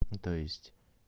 то есть